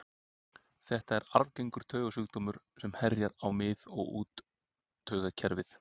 Þetta er arfgengur taugasjúkdómur sem herjar á mið- og úttaugakerfi.